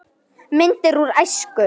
Myndir úr æsku.